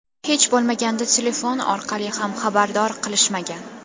Hech bo‘lmaganda telefon orqali ham xabardor qilishmagan.